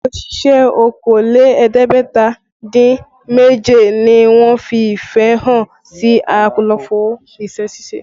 Òṣìṣẹ́ okòó lé ẹ̀ẹ́dẹ́gbẹ̀ta dín méje ni wọ́n fi ìfẹ́ hàn sí àlàfo iṣẹ́ ṣíṣe